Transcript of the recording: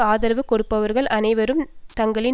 ஆதரவு கொடுப்பவர்கள் அனைவரையும் தங்களின்